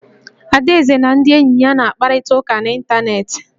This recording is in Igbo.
Adaeze na ndị enyi ya na-akparịta ụka n'ịntanetị